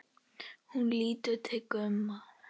Hún lítur til Gumma.